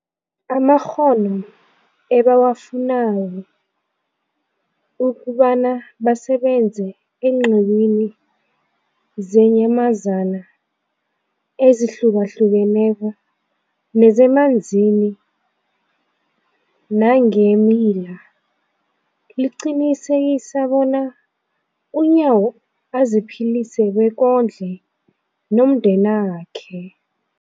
amakghono ebawafunako ukobana basebenze eenqiwini zeenyamazana ezihlukahlukeneko nezemanzini nangeemila, liqinisekisa bona uNyawo aziphilise bekondle nomndenakhe.